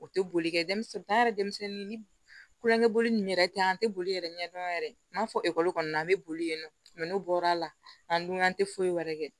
O tɛ boli kɛ denmisɛnnin yɛrɛ denmisɛnnin ninnu yɛrɛ tɛ an tɛ boli yɛrɛ ɲɛdɔn yɛrɛ n m'a fɔ ekɔli kɔni na an bɛ boli yen nɔ n'o bɔra la an dun an tɛ foyi wɛrɛ kɛ